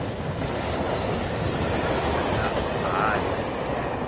mutshutshisi u ḓo vhidza ṱhanzi